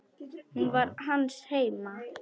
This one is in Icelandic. Hún var hans heima.